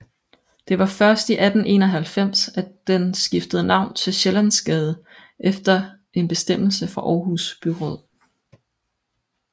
Det var først i 1891 at den skiftede navn til Sjællandsgade efter en bestemmelse fra Aarhus Byråd